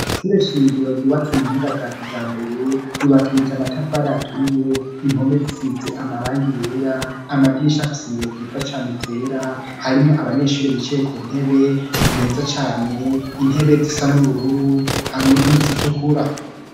Ishure shingiro ryubatse mu buhinga bwa kijambere ,ryubakishije amatafari aturiye, impome zisize amarangi yera , amadirisha afisi ibiyo vyiza cane vyera ,harimwo abanyeshuri bicaye ku ntebe meza cane, intebe zisa n'ubururu ,hamwe n'izitukura.